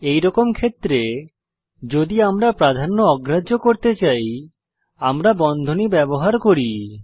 এইরকম ক্ষেত্রে যদি আমরা প্রাধান্য অগ্রাহ্য করতে চাই আমরা বন্ধনী ব্যবহার করি